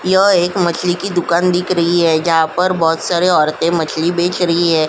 य एक मछली की दुकान दिख रही है जहां पर बहोत सारे औरतें मछली बेच रही है।